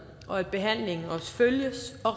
og at behandlingen også følges og